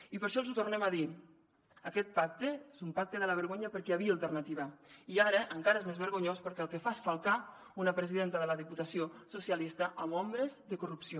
i per això els ho tornem a dir aquest pacte és un pacte de la vergonya perquè hi havia alternativa i ara encara és més vergonyós perquè el que fa és falcar una presidenta de la diputació socialista amb ombres de corrupció